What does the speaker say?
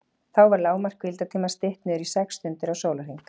Þá var lágmark hvíldartímans stytt niður í sex stundir á sólarhring.